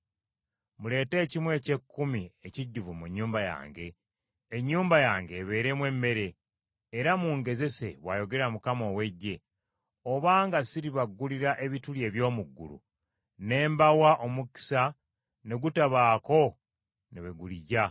Muleete ekimu eky’ekkumi ekijjuvu mu nnyumba yange, ennyumba yange ebeeremu emmere, era mungezese,” bw’ayogera Mukama ow’Eggye, “obanga siribaggulirawo ebituli eby’omu ggulu, ne mbawa omukisa ne gutabaako ne we guligya.